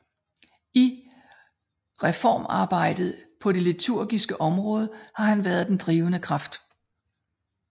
I reformarbejdet på det liturgiske område har han været den drivende kraft